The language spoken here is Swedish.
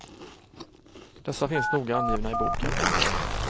Dessa finns noga angivna i boken.